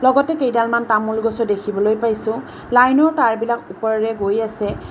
লগতে কেইডালমান তামোল গছো দেখিবলৈ পাইছোঁ লাইনৰ তাঁৰবিলাক ওপৰৰে গৈই আছে।